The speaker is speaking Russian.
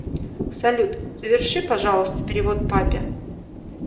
салют соверши пожалуйста перевод папе